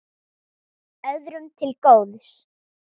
Öðrum til góðs.